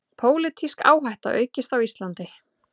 Pólitísk áhætta aukist á Íslandi